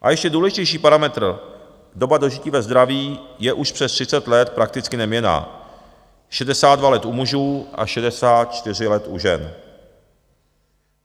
A ještě důležitější parametr - doba dožití ve zdraví je už přes 30 let prakticky neměnná, 62 let u mužů a 64 let u žen.